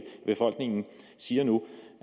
af befolkningen siger nu